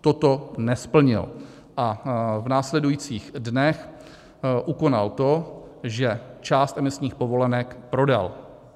Toto nesplnil a v následujících dnech ukonal to, že část emisních povolenek prodal.